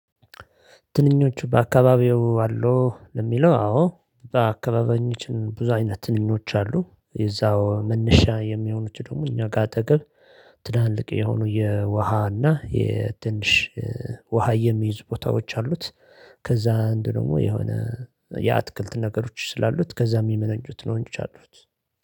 ትንኞቹ በአካባቢው አሉ ለሚለው አዎ በአካባቢዋች ብዙ አይነት ትንኞች አሉ የዛው መነሻ የሚሆኑት ደግሞ እኛ ጋር አጠገብ። ትላልቅ የሆኑ የውሃና የትንሽ ውሃ የሚይዝ ቦታዎች አሉት። ከዛ አንድ ደግሞ የሆነ የአትክልት ነገሮች ስላሉት ከዛም የሚመነጩት ነው እንጂ አሉት